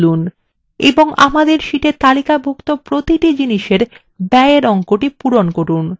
এবং আমাদের sheetএ তালিকাভুক্ত প্রতিটি জিনিসের ব্যয়এর অঙ্কটি পূরণ করুন